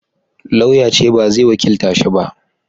Lauya ya ce ba zai wakilta shi ba